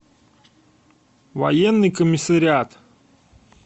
военный комиссариат